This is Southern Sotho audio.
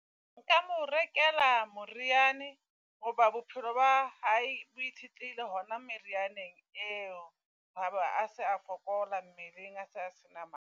Nka mo rekela moriana hoba bophelo ba hae bo itshetleile hona merianeng eo. Haba a se a fokola mmeleng a sa sena matla.